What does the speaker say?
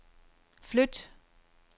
flyt